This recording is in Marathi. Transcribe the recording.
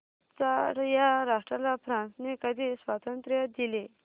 चाड या राष्ट्राला फ्रांसने कधी स्वातंत्र्य दिले